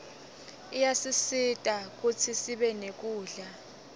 iyasisita kutsisibe nekudla